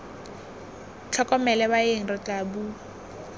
tlhokomele baeng re tla bua